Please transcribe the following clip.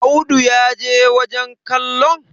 Audu ya je wajen kallon?